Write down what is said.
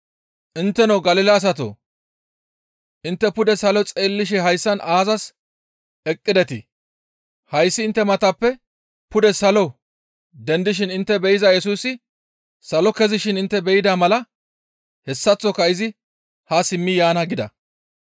«Intteno Galila asatoo! Intte pude salo xeellishe hayssan aazas eqqidetii? Hayssi intte matappe pude salo dendishin intte be7iza Yesusi salo kezishin intte be7ida mala hessaththoka izi haa simmi yaana» gida.